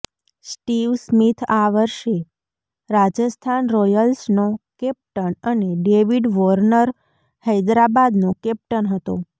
Steve Smith આ વર્ષે રાજસ્થાન રોયલ્સનો કેપ્ટન અને ડેવિડ વોર્નર હૈદરાબાદનો કેપ્ટન હતો